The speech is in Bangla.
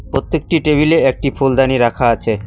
পত্যেকটি টেবিলে একটি ফুলদানি রাখা আছে।